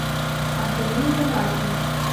антонине ринатовне